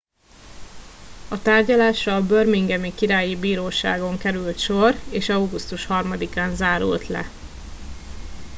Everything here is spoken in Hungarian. a tárgyalásra a birminghami királyi bíróságon került sor és augusztus 3 án zárult le